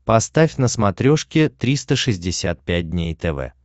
поставь на смотрешке триста шестьдесят пять дней тв